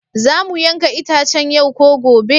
Za mu yanka itacen yau ko gobe?